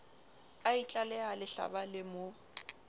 a itlaleha lehlaba le mo